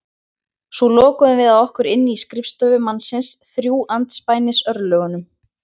Svo lokuðum við að okkur inni á skrifstofu mannsins, þrjú andspænis örlögunum.